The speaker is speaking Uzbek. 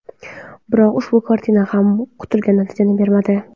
Biroq ushbu kartina ham kutilgan natijani bermadi.